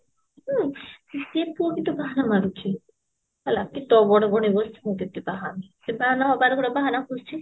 ହୁଁ ସିଏ ପୁଅ ବି ତ ବାହାନା ମାରୁଛି ହେଲା କି ତୋ ବଡ ଭଉଣୀ ବସିଛି ମୁଁ କେମତି ବାହା ହେମି ସେ ବାହା ନହବାର ଗୋଟେ ବାହାନା ଖୋଜୁଛି